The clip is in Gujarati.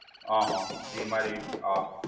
આહા જી મારી આ